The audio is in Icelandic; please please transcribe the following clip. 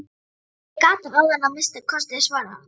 Ég gat það áðan að minnsta kosti, svaraði hann.